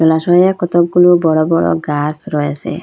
লাচুংয়ে কতকগুলা বড় বড় গাস রয়েসে।